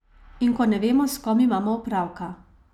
In ko ne vemo, s kom imamo opravka.